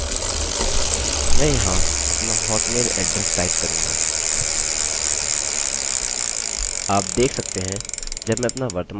मैं यहाँ अपना hotmail एड्रेस टाइप करूँगा